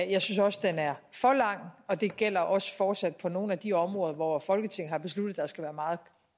jeg synes også den er for lang og det gælder også fortsat på nogle af de områder hvor folketinget har besluttet at der skal være meget